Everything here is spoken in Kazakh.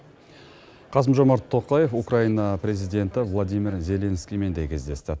қасым жомарт тоқаев украина президенті владимир зеленскиймен де кездесті